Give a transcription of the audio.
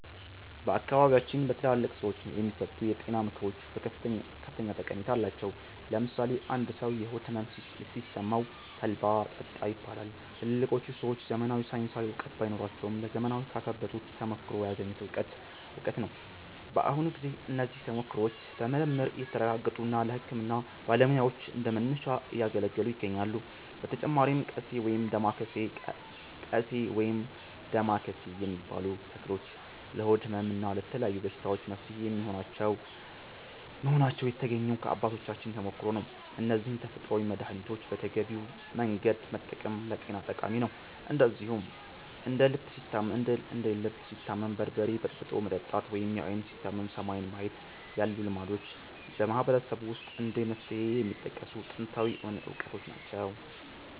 በአካባቢያችን በትላልቅ ሰዎች የሚሰጡ የጤና ምክሮች ከፍተኛ ጠቀሜታ አላቸው። ለምሳሌ አንድ ሰው የሆድ ሕመም ሲሰማው 'ተልባ ጠጣ' ይባላል። ትላልቆቹ ሰዎች ዘመናዊ ሳይንሳዊ እውቀት ባይኖራቸውም፣ ለዘመናት ካካበቱት ተሞክሮ ያገኙት እውቀት ነው። በአሁኑ ጊዜ እነዚህ ተሞክሮዎች በምርምር እየተረጋገጡ ለሕክምና ባለሙያዎች እንደ መነሻ እያገለገሉ ይገኛሉ። በተጨማሪም 'ቀሴ' (ወይም ዳማከሴ) የሚባሉ ተክሎች ለሆድ ሕመም እና ለተለያዩ በሽታዎች መፍትሄ መሆናቸው የተገኘው ከአባቶቻችን ተሞክሮ ነው። እነዚህን ተፈጥሯዊ መድኃኒቶች በተገቢው መንገድ መጠቀም ለጤና ጠቃሚ ነው። እንደዚሁም እንደ 'ልብ ሲታመም በርበሬ በጥብጦ መጠጣት' ወይም 'ዓይን ሲታመም ሰማይን ማየት' ያሉ ልማዶችም በማህበረሰቡ ውስጥ እንደ መፍትሄ የሚጠቀሱ ጥንታዊ እውቀቶች ናቸው።